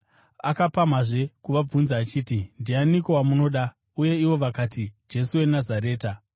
Akapamhazve kuvabvunza achiti, “Ndianiko wamunoda?” Uye ivo vakati, “Jesu weNazareta.”